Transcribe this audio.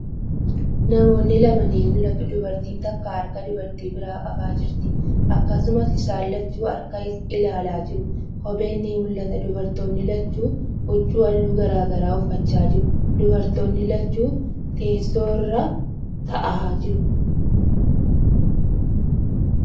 Namoonni lama ni mul'atu. Dubartiin takka harka dubartii biraa qabaa jirti. Akkasumas, isaan lachuu harka ilaalaa jiru. Kobbeen ni mul'ata. Dubartoonni lachuu huccuu haalluu garagaraa uffachaa jiru. Dubartoonni lachuu teessoo irra taa'aa jiru.